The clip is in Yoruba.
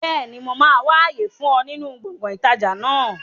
Bẹ́ẹ̀ni, mo máa wà àyè fún ọ nínú gbọ̀ngàn ìtajà náà